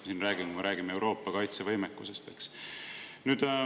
Me räägime ju Euroopa kaitsevõimest.